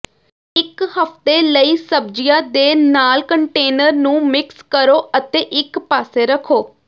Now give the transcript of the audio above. ਇੱਕ ਹਫ਼ਤੇ ਲਈ ਸਬਜ਼ੀਆਂ ਦੇ ਨਾਲ ਕੰਟੇਨਰ ਨੂੰ ਮਿਕਸ ਕਰੋ ਅਤੇ ਇਕ ਪਾਸੇ ਰੱਖੋ